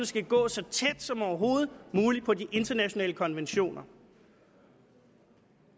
skal gå så tæt som overhovedet muligt på de internationale konventioner